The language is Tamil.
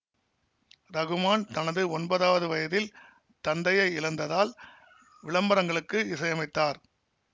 ரகுமான் தனது ஒன்பதாவது வயதில் தந்தையை இழந்ததால் விளம்பரங்களுக்கு இசையமைத்தார்